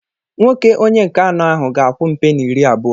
Nwoke onye nke anọ ahu ga-akwụ m peni iri abụọ.